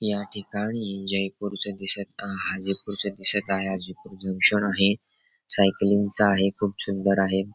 या ठिकाणी जयपुर च दिसत आहे. हा जंक्शन आहे. सायकलिंग चा आहे खूप सुंदर आहे.